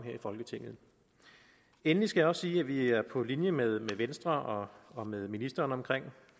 i folketinget endelig skal jeg også sige at vi er på linje med venstre og med ministeren